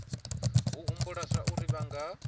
u humbula zwauri vha nga